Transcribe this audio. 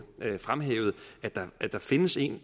fremhævet at der findes en